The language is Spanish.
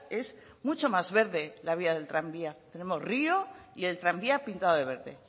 es mucho más verde la vía del tranvía tenemos río y el tranvía pintado de verde